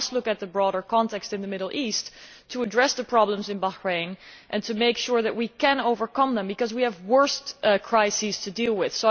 We must look at the broader context in the Middle East when addressing the problems in Bahrain and to make sure that we can overcome them, because we have worse crises to deal with.